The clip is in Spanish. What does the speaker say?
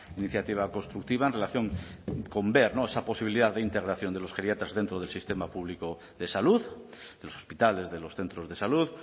iniciativa constructiva en relación con ver esa posibilidad de integración de los geriatras dentro del sistema público de salud de los hospitales de los centros de salud